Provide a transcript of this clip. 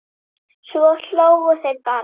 Svo hlógu þeir bara.